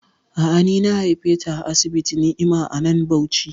A'a, ni na haife ta a asibitin Ni'ima a nan Bauchi